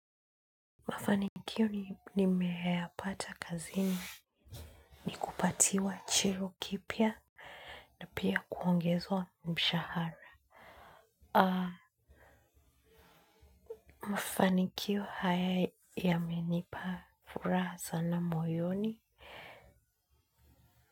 Mafanikio nimeya pata kazini ni kupatiwa cheo kipya na pia kuongezwa mshahara. Mafanikio haya yamenipa furaha na moyoni.